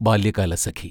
Balyakalasakhi